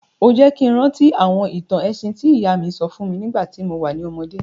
O jẹ́ ki n rántí àwọn ìtàn ẹ̀sìn ti ìyá mi sọ fún mi nígbàtí mo wa ni ọmọdé.